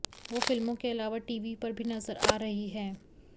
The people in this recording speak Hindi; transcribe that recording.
वो फिल्मों के अलावा टीवी पर भी नज़र आ रही हैं